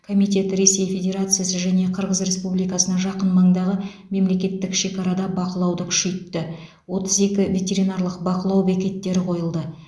комитет ресей федерациясы және қырғыз республикасына жақын маңдағы мемлекеттік шекарада бақылауды күшейтті отыз екі ветеринарлық бақылау бекеттері қойылды